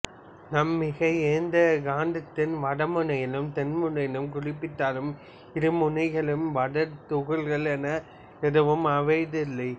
நாம் மிக ஏந்தாக காந்தத்தை வடமுனையாலும் தென்முனையாலும் குறிப்பிட்டாலும் இருமுனைகளிலும் வட தென் துகள்கள் என ஏதும் அமைவதில்லை